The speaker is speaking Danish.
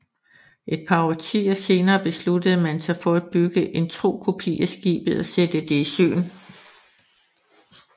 Et par årtier senere beslutter man sig for at bygge en tro kopi af skibet og sætte det i søen